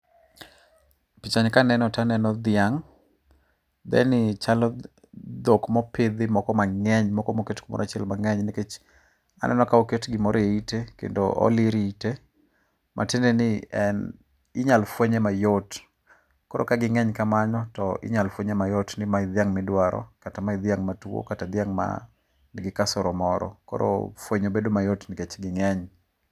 Pichani kaneno to aneno dhiang', dheni chalo dhok mopidhi moko mang'eny moko moket kumoro achiel mang'eny, nikech aneno ka oket gimoro eite, kendo olir ite. Matiende ni en inyalo fuenye mayot, koro ka ging'eny kamano to inyalo fuenye mayot, ni mae e dhiang' miduaro kata mae e dhiang' matuo. Kata dhiang' man gi kasoro moro koro fuenyo bedo mayot nikech ging'eny.